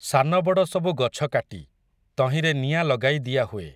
ସାନ ବଡ଼ ସବୁ ଗଛ କାଟି, ତହିଁରେ ନିଆଁ ଲଗାଇ ଦିଆ ହୁଏ ।